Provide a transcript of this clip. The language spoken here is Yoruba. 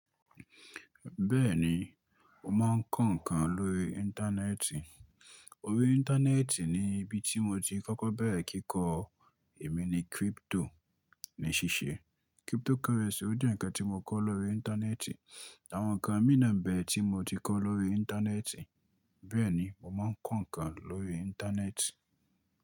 Bẹ́ẹ̀ni, mo máa ń kọ́ ǹkan lórí Íńtánẹ́ẹ̀tì. Orí Íńtánẹ́ẹ̀tì ni ibi tí mo ti kọ́kọ́ bẹ̀rẹ̀ kíkọ ẹ̀mí ni crypto ní ṣíṣe. Crypto currency ò jẹ́ ǹkan tí mo kọ́ lórí Íńtánẹ́ẹ̀tì, àwọn ǹkan mìíràn bẹ́ẹ̀ tí mo ti kọ́ lórí Íńtánẹ́ẹ̀tì. Bẹ́ẹ̀ni, mo máa ń kọ́ ǹkan lórí Íńtánẹ́ẹ̀tì.